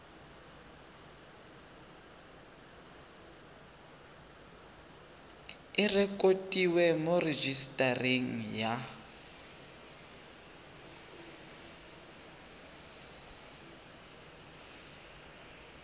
e rekotiwe mo rejisetareng ya